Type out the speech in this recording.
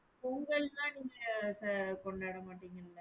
பொங்கல்லாம் நீங்க கொண்டாடமாட்டீங்கல்ல?